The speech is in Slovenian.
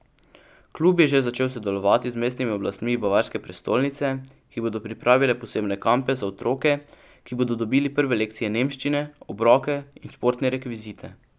Klub je že začel sodelovati z mestnimi oblastmi bavarske prestolnice, ki bodo pripravile posebne kampe za otroke, ki bodo dobili prve lekcije nemščine, obroke in športne rekvizite.